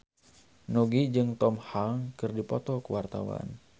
Nugie jeung Tom Hanks keur dipoto ku wartawan